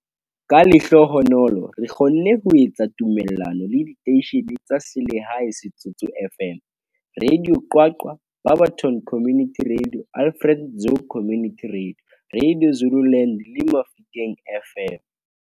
Ka lehlohonolo, re kgonne ho etsa tumellano le diteishene tsa selehae Setsoto FM, Radio QwaQwa, Barberton Community radio, Alfred Nzo Community radio, Radio Zululand, le Mafikeng FM.